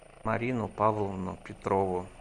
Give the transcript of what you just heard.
марину павловну петрову